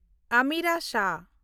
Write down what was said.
Amira Shah